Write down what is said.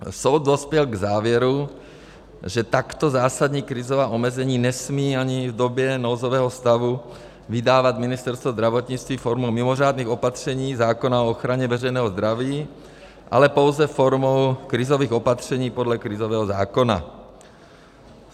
Soud dospěl k závěru, že takto zásadní krizová omezení nesmí ani v době nouzového stavu vydávat Ministerstvo zdravotnictví formou mimořádných opatření zákona o ochraně veřejného zdraví, ale pouze formou krizových opatření podle krizového zákona.